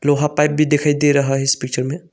लोहा पाइप भी दिखाई दे रहा है इस पिक्चर में।